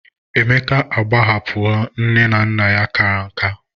Emeka agbahapuho ne na nna ya kara nka